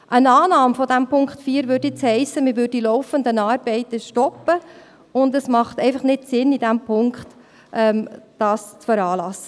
Eine Annahme von Punkt 4 würde nun heissen, man würde die laufenden Arbeiten stoppen, und es macht einfach nicht Sinn, dies in diesem Punkt zu veranlassen.